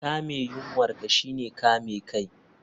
Kame yunwar ka shine kame kai